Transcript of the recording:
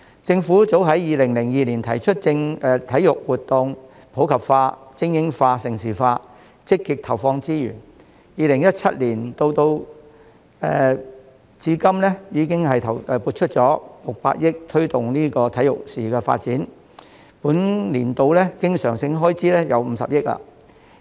政府早於2002年提出體育活動普及化、精英化及盛事化，積極投放資源 ，2017 年至今已撥出600億元推動體育事業發展，本年度的相關經常性開支達50億元。